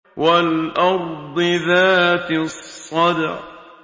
وَالْأَرْضِ ذَاتِ الصَّدْعِ